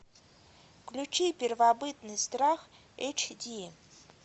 включи первобытный страх эйч ди